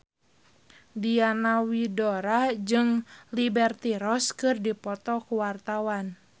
Diana Widoera jeung Liberty Ross keur dipoto ku wartawan